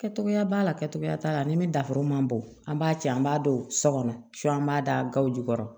Kɛcogoya b'a la kɛcogoya b'a la ani min dafuru man bon an b'a cɛ an b'a dɔn sɔ kɔnɔ an b'a da gawo jukɔrɔ